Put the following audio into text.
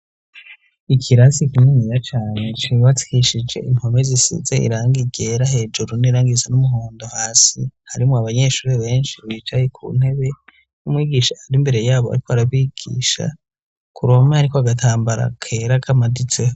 Ikirasi kimenira cyane cubakishije impono zisise iranga igera hejuru n'irangiza n'umuhondo hasi harimo abanyeshuri benshi bicaye ku ntebe n'umwigisha ari imbere yabo atwara bigisha ku roma yari ko agatambara kera kamaditseho.